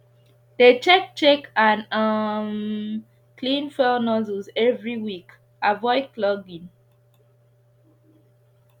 dey check check and um clean fuel nozzles every week avoid clogging